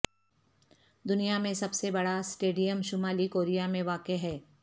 دنیا میں سب سے بڑا اسٹیڈیم شمالی کوریا میں واقع ہے